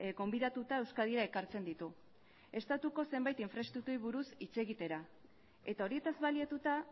gonbidatuta euskadira ekartzen ditu estatuko zenbait infraestrukturei buruz hitz egitera eta horietaz baliatuta